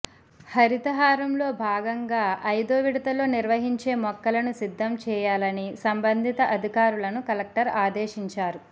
హరితహారంలో భాగంగా ఐదో విడతలో నిర్వహించే మొక్కలను సిద్ధం చేయాలని సంబంధిత అధికారులను కలెక్టర్ ఆదేశించారు